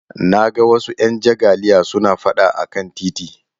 Na ga wasu 'yan jagaliya suna fada a kan titi